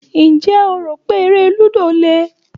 Ǹjẹ́ o rò pé eré lúdò le?